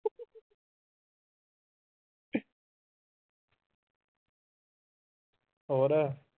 ਹੋਰ